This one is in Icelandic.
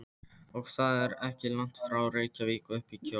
Og það er ekki langt frá Reykjavík uppí Kjós.